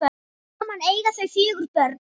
Saman eiga þau fjögur börn